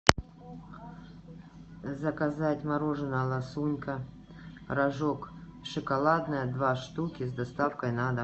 заказать мороженое ласунка рожок шоколадное два штуки с доставкой на дом